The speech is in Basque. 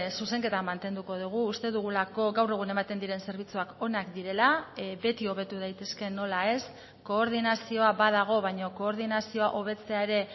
zuzenketa mantenduko dugu uste dugulako gaur egun ematen diren zerbitzuak onak direla beti hobetu daitezke nola ez koordinazioa badago baina koordinazioa hobetzea ere